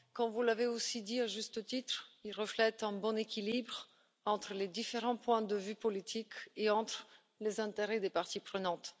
Comme vous l'avez dit aussi, à juste titre, il reflète un bon équilibre entre les différents points de vue politiques et entre les intérêts des parties prenantes.